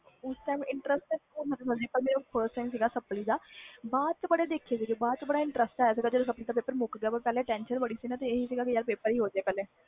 ਉਸ time paper sapply ਦਾ ਪਹਲੇ ਆਹ ਸੀ ਕਿ ਪੇਪਰ ਮੁਕ ਜੇ tension ਬਹੁਤ ਸੀ ਪੇਪਰ ਦੀ ਬਾਅਦ ਵਿਚ ਬਹੁਤ ਮਜਾ ਆਇਆ